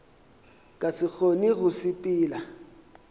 ka se kgone go sepela